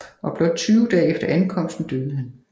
Og blot 20 dage efter ankomsten døde han